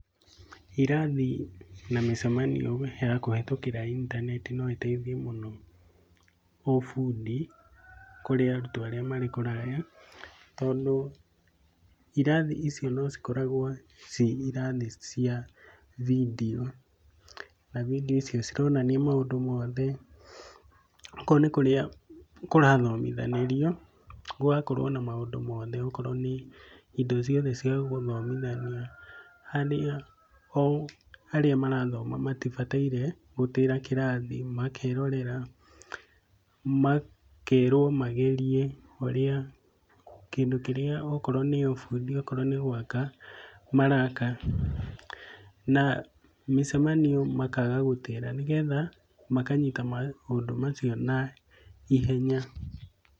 Irathi na mĩcemanio ya kũhĩtũkĩra intaneti no ĩteithie mũno ũbundi, kũrĩ arutwo arĩa marĩ kũraya tondũ irathi ici no cikoragwo ci irathi cia video, na video icio cironania maũndũ mothe. Okorwo nĩ kũrĩa kũrathomithanĩrio gũgakorwo na maũndũ mothe, okorwo nĩ indo ciothe cia gũthomithania, harĩa o arĩa marathoma matibataire gũtĩra kĩrathi, makerorera. Makerwo magerie ũrĩa, kĩndũ kĩrĩa okorwo nĩ ũbundi, okorwo nĩ gwaka maraka. Na mĩcemanio makaga gũtĩra nĩgetha makanyita maũndũ macio naihenya.